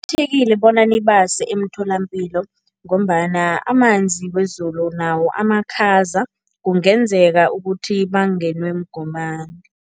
Bona nibase emtholampilo ngombana amanzi wezulu nawo amakhaza, kungenzeka ukuthi bangenwe mgomani.